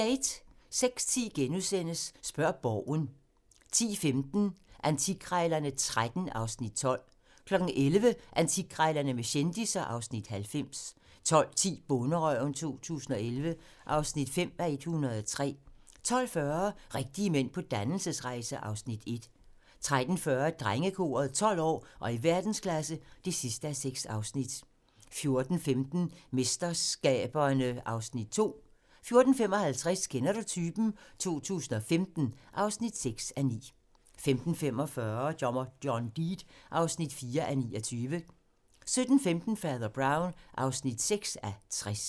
06:10: Spørg Borgen * 10:15: Antikkrejlerne XIII (Afs. 12) 11:00: Antikkrejlerne med kendisser (Afs. 90) 12:10: Bonderøven 2011 (5:103) 12:40: Rigtige mænd på dannelsesrejse (Afs. 1) 13:40: Drengekoret - 12 år og i verdensklasse (6:6) 14:15: MesterSkaberne (Afs. 2) 14:55: Kender du typen? 2015 (6:9) 15:45: Dommer John Deed (4:29) 17:15: Fader Brown (6:60)